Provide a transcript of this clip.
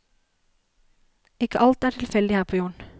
Ikke alt er tilfeldig her på jorden.